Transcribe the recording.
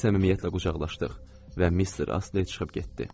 Biz səmimiyyətlə qucaqlaşdıq və mister Astley çıxıb getdi.